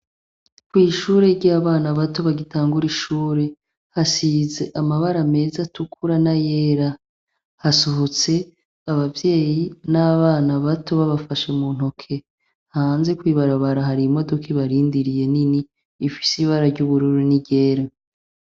Kwishure ryabana bato bagitangura ishure hasize amabara meza atukura nayera hasohotse abavyeyi n'abana bato babafashe muntoke, hanze kwibarabara hari imodoka ibarindiriye nini ifise ibara ryubururu niryera.